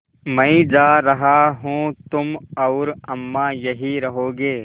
मैं जा रहा हूँ तुम और अम्मा यहीं रहोगे